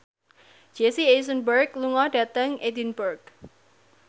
Jesse Eisenberg lunga dhateng Edinburgh